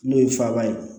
N'o ye faaba ye